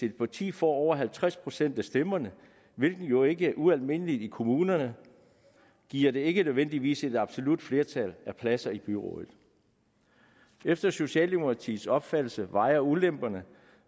et parti får over halvtreds procent af stemmerne hvilket jo ikke er ualmindeligt i kommunerne giver det ikke nødvendigvis et absolut flertal af pladser i byrådet efter socialdemokratiets opfattelse vejer ulemperne